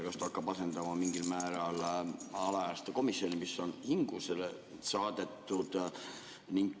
Kas ta hakkab asendama mingil määral alaealiste komisjoni, mis on hingusele saadetud?